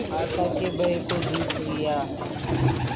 आशा के भय को जीत लिया